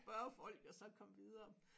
Spørge folk og så komme videre